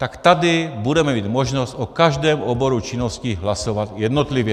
Tak tady budeme mít možnost o každém oboru činnosti hlasovat jednotlivě.